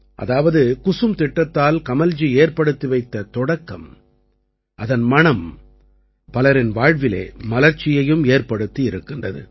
அதாவது குசும் திட்டத்தால் கமல்ஜி ஏற்படுத்தி வைத்த தொடக்கம் அதன் மணம் பலரின் வாழ்விலே மலர்ச்சியையும் ஏற்படுத்தி இருக்கிறது